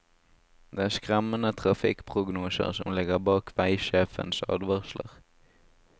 Det er skremmende trafikkprognoser som ligger bak veisjefens advarsler.